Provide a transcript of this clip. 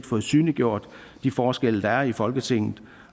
fået synliggjort de forskelle der er i folketinget